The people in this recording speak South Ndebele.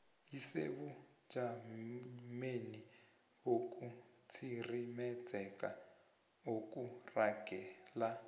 isebujamweni bokutsirimezeka okuragela